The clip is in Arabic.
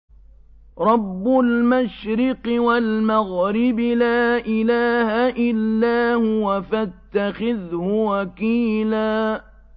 رَّبُّ الْمَشْرِقِ وَالْمَغْرِبِ لَا إِلَٰهَ إِلَّا هُوَ فَاتَّخِذْهُ وَكِيلًا